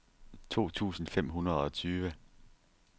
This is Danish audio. to tusind fem hundrede og tyve